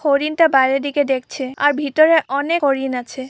হরিণটা বাইরে দিকে দেখছে আর ভিতরে অনেক হরিণ আছে।